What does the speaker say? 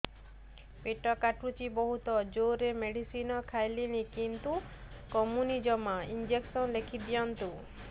ପେଟ କାଟୁଛି ବହୁତ ଜୋରରେ ମେଡିସିନ ଖାଇଲିଣି କିନ୍ତୁ କମୁନି ଜମା ଇଂଜେକସନ ଲେଖିଦିଅନ୍ତୁ